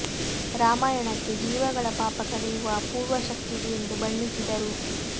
ರಾಮಾಯಣಕ್ಕೆ ಜೀವಗಳ ಪಾಪ ಕಳೆಯುವ ಅಪೂರ್ವ ಶಕ್ತಿ ಇದೆ ಎಂದು ಬಣ್ಣಿಸಿದರು